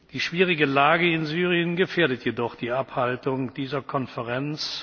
Die schwierige Lage in Syrien gefährdet jedoch die Abhaltung dieser Konferenz.